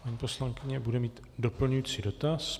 Paní poslankyně bude mít doplňující dotaz.